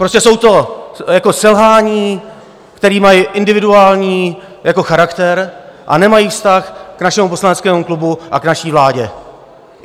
Prostě jsou to selhání, která mají individuální charakter a nemají vztah k našemu poslaneckému klubu a k naší vládě.